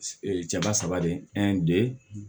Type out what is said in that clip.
cɛba saba de